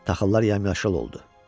Taxıllar yamyaşıl oldu.